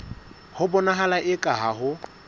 ho bonahala eka ha ho